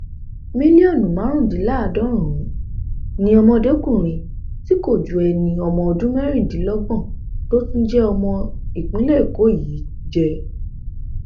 mílíọnù márùndínláàádọrùnún ni ọdọmọkùnrin tí um kò ju ẹni ọdún mẹrìndínlọgbọn tó tún jẹ ọmọ ìpínlẹ um èkó yìí jẹ